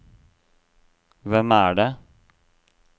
hvem er det